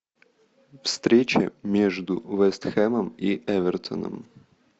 встреча между вест хэмом и эвертоном